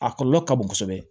A kɔlɔlɔ ka bon kosɛbɛ